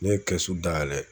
Ne ye dayɛlɛ.